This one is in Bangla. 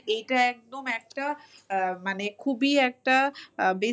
এইটা একদম একটা আহ মানে খবুই একটা আহ!